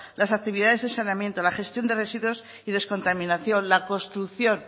las actividades de saneamiento la gestión de residuos y descontaminación la construcción